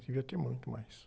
Devia ter muito mais.